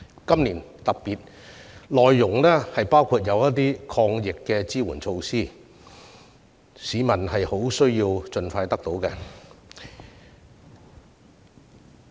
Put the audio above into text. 今年預算案內容特別包括了一些抗疫支援措施，這是市民需要盡快得到的。